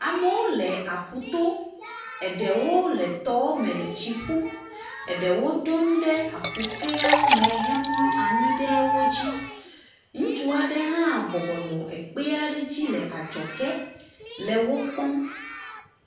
Amewo le aƒuto. Eɖewo le tɔ me le tsi ƒum. Eɖewo ɖo nu ɖe aƒukeawo me hemlɔ anyi ɖe wo dzi. Ŋutsu aɖe hã bɔbɔ nɔ ekpe aɖe dzi le adzɔge le wokpɔm